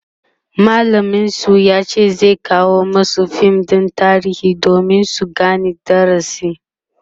mallamin su yace zai kawo masu fim ɗin tarihi domin su Gane darasin